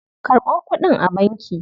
Karɓo kuɗin a banki.